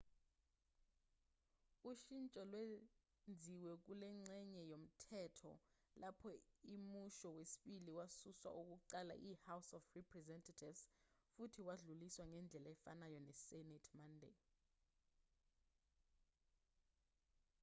ushintsho lwenziwe kulengxenye yomthetho lapho imusho wesibili wasuswa okokuqala yi-house of representatives futhi wadluliswa ngendlela efanayo yi-senate monday